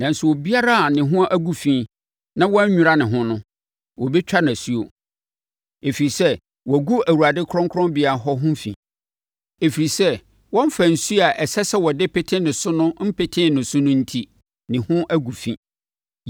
Nanso, obiara a ne ho agu fi na wannwira ne ho no, wɔbɛtwa no asuo, ɛfiri sɛ, wɔagu Awurade kronkronbea hɔ ho fi. Ɛfiri sɛ wɔmfaa nsuo a ɛsɛ sɛ wɔde pete ne so no mpetee ne so no enti, ne ho agu fi.